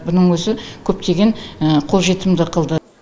мұның өзі көптеген қолжетімді қылды